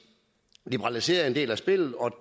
liberaliserede en del af spillet og